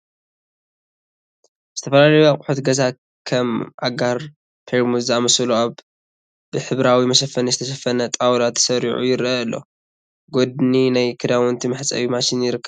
ዝተፈላለዩ ኣቁሑት ገዛ ከም ኣጋር ፔርሙዝ ዝኣመሰሉ ኣብ ብሕብራዊ መሸፈኒ ዝተሸፈነ ጣውላ ተሰሪዑ ይርአ ኣሎ፡፡ ብጎድኒ ናይ ክዳውንቲ መሕፀቢ ማሽን ይርከብ፡፡